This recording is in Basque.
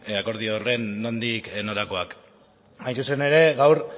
akordio horren nondik norakoak hain zuzen ere gaur